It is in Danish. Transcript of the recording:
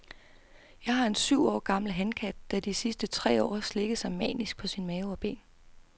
Jeg har en syv år gammel hankat, der de sidste tre år har slikket sig manisk på sin mave og ben.